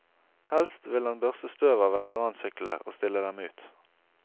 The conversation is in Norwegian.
Helst vil han børste støvet av veteransyklene og stille dem ut.